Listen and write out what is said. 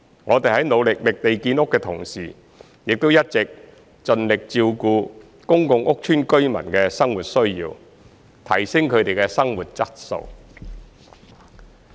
我們在努力覓地建屋的同時，亦一直盡力照顧公共屋邨居民的生活需要，提升他們的生活質素。